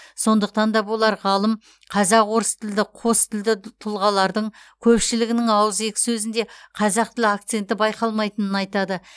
сондықтан да болар ғалым қазақ орыс тілді қостілді тұлғалардың көпшілігінің ауызекі сөзінде қазақ тілі акценті байқалмайтынын айтады